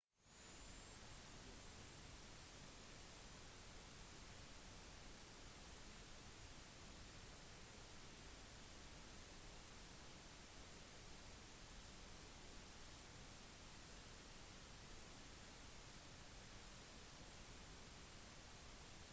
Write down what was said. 93 prosent av grønlands befolkning har internettilgang på grunn av fiberoptiske kabelkoblinger som går under sjøen til europa og på grunn av bredbåndssatellitt